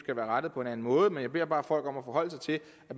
indrettet på en anden måde men jeg beder bare folk om at forholde sig til